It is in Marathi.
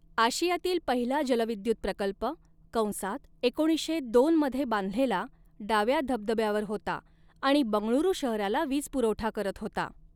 आशियातील पहिला जलविद्युत प्रकल्प कंसात एकोणीसशे दोन मध्ये बांधलेला डाव्या धबधब्यावर होता आणि बंगळुरू शहराला वीजपुरवठा करत होता.